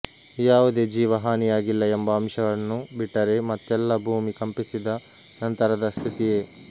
ಯಾವುದೇ ಜೀವ ಹಾನಿಯಾಗಿಲ್ಲ ಎಂಬ ಅಂಶವನ್ನು ಬಿಟ್ಟರೆ ಮತ್ತೆಲ್ಲ ಭೂಮಿ ಕಂಪಿಸಿದ ನಂತರದ ಸ್ಥಿತಿಯೇ